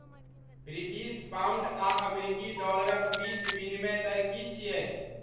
British pound आ अमरीकी डॉलराक बीच विनिमय दर की छियै